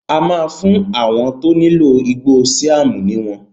A máa fún àwọn tó nílò igbó síám ní wọn